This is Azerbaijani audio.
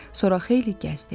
Sonra xeyli gəzdi.